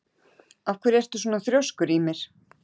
Af hverju ertu svona þrjóskur, Ymir?